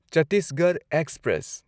Chhattisgarh express